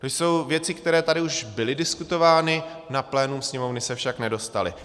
To jsou věci, které tady už byly diskutovány, na plénum Sněmovny se však nedostaly.